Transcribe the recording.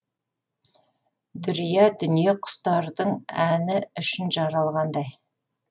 дүрия дүние құстардың әні үшін жаралғандай